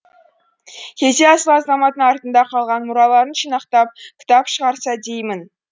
кейде асыл азаматтың артында қалған мұраларын жинақтап кітап шығарса деймін